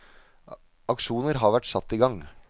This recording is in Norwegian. Aksjoner har vært satt i gang.